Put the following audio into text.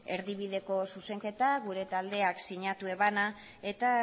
erdibideko zuzenketa gure taldeak sinatu zuena eta